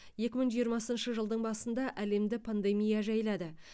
екі мың жиырмасыншы жылдың басында әлемді пандемия жайлады